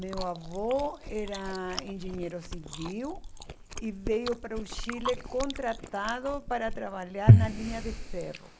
Meu avô era engenheiro civil e veio para o Chile contratado para trabalhar na linha de ferro.